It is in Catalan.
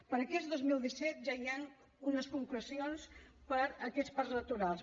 per a aquest dos mil disset ja hi han unes concrecions per a aquests parcs naturals